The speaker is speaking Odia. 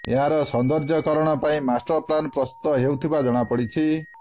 ଏହାର ସୌନ୍ଦର୍ଯ୍ୟକରଣ ପାଇଁ ମାଷ୍ଟର ପ୍ଲାନ ପ୍ରସ୍ତୁତ ହେଉଥିବା ଜମାପଡିଛି